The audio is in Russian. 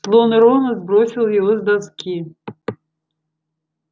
слон рона сбросил его с доски